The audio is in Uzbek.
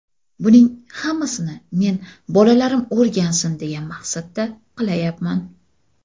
Buning hammasini men bolalarim o‘rgansin, degan maqsadda qilayapman.